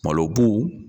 Malo bu